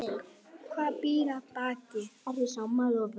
Hvað býr að baki?